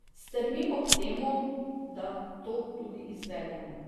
Strmimo k temu, da to tudi izvedemo.